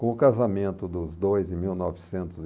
Com o casamento dos dois, em mil novecentos e